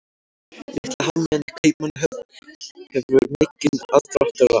Litla hafmeyjan í Kaupmannahöfn hefur mikið aðdráttarafl.